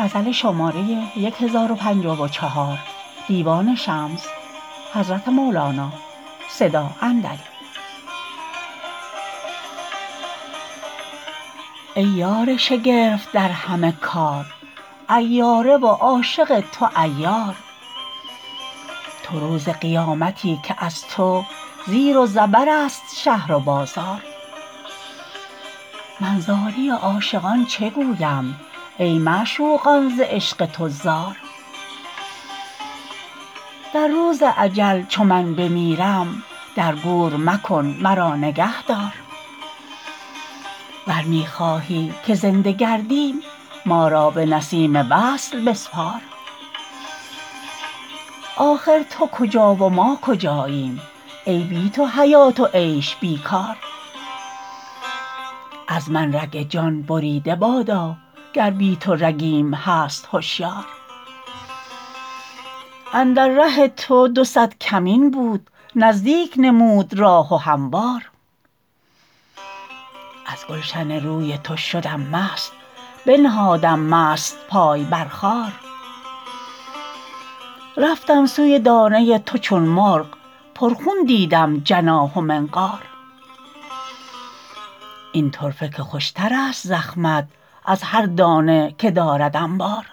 ای یار شگرف در همه کار عیاره و عاشق تو عیار تو روز قیامتی که از تو زیر و زبرست شهر و بازار من زاری عاشقان چه گویم ای معشوقان ز عشق تو زار در روز اجل چو من بمیرم در گور مکن مرا نگهدار ور می خواهی که زنده گردیم ما را به نسیم وصل بسپار آخر تو کجا و ما کجاییم ای بی تو حیات و عیش بی کار از من رگ جان بریده بادا گر بی تو رگیم هست هشیار اندر ره تو دو صد کمین بود نزدیک نمود راه و هموار از گلشن روی تو شدم مست بنهادم مست پای بر خار رفتم سوی دانه تو چون مرغ پرخون دیدم جناح و منقار این طرفه که خوشترست زخمت از هر دانه که دارد انبار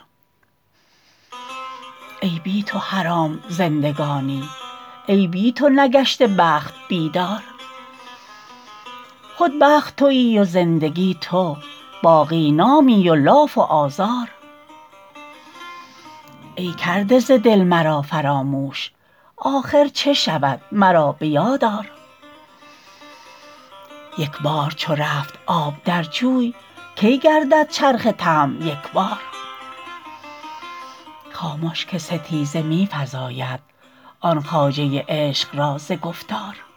ای بی تو حرام زندگانی ای بی تو نگشته بخت بیدار خود بخت توی و زندگی تو باقی نامی و لاف و آزار ای کرده ز دل مرا فراموش آخر چه شود مرا به یاد آر یک بار چو رفت آب در جوی کی گردد چرخ طمع یک بار خامش که ستیزه می فزاید آن خواجه عشق را ز گفتار